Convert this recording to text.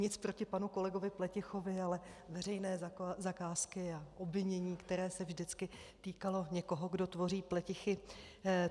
Nic proti panu kolegovi Pletichovi, ale veřejné zakázky a obvinění, které se vždycky týkalo někoho, kdo tvoří pletichy...